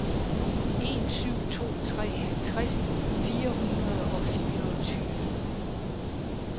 en syv to tre halvtreds fire hundrede og fireogtyve